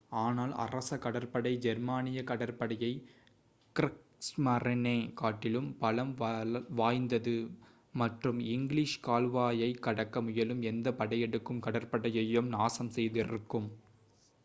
"ஆனால் அரச கடற்படை ஜெர்மானிய கடற்படையைக் "க்ரீகஸ்மரீனே" காட்டிலும் பலம் வாய்ந்தது மற்றும் இங்கிலீஷ் கால்வாயைக் கடக்க முயலும் எந்த படையெடுக்கும் கடற்படையையும் நாசம் செய்திருக்கும்.